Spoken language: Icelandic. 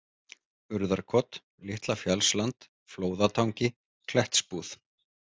Urðarkot, Litla-Fjallsland, Flóðatangi, Klettsbúð